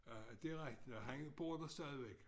Øh det rigtig nok han bor der stadigvæk